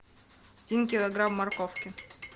один килограмм морковки